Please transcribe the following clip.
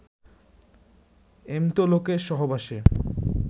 এমতো লোকের সহবাসে